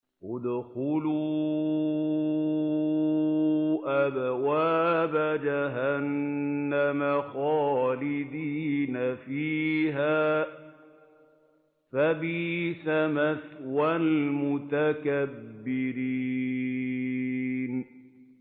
ادْخُلُوا أَبْوَابَ جَهَنَّمَ خَالِدِينَ فِيهَا ۖ فَبِئْسَ مَثْوَى الْمُتَكَبِّرِينَ